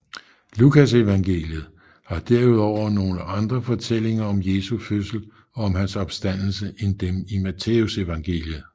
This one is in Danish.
Lukasevangeliet har derudover nogle andre fortællinger om Jesu fødsel og om hans opstandelse end dem i Matthæusevangeliet